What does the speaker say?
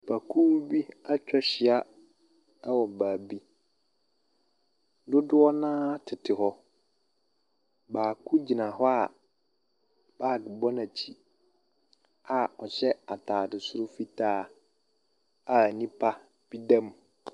Nnipakuw bi atwa ahyia wɔ baabi. Dodoɔ no ara tete hɔ. Baako gyina hɔ a baage wɔ n'akyi a ɔhyɛ ataade fitaa a nipa da mu.